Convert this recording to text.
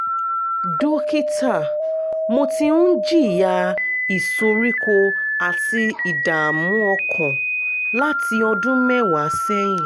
dókítà mo ti ń jìyà ìsoríkó àti ìdààmú ọkàn láti ọdún mẹ́wàá sẹ́yìn